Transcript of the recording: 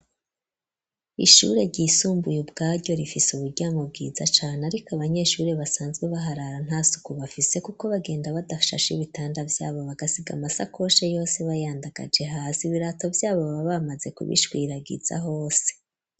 Ishure ryisumbuye ubwaryo rifise uburyamo bwiza cane, ariko abanyeshure basanzwe baharara nta suku bafise, kuko bagenda badashashe ibitanda vyabo bagasiga amasakoshe yose bayandagaje hasi, ibirato vyabo baba bamaze kubishwiragiza hose.